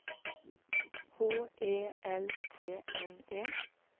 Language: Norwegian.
H E L T N E